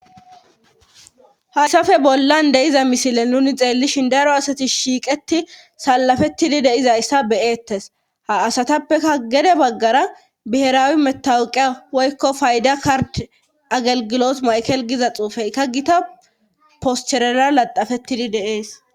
haysafe bollan de'iza misile nuni xeellishin daro asati shiiqeti salafettidi de'izayssa be'eettes ha asatappeka gede baggara biheraawi metawuqia woykko fayda kard agalgilot maykel giza xuufey ka gita posterera laxafettidi de'ees